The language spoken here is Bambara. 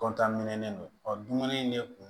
minɛlen don dumuni ne kun